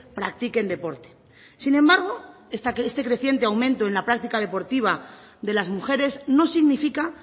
practiquen deporte sin embargo este creciente aumento en la práctica deportiva de las mujeres no significa